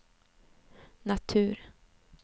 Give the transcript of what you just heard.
natur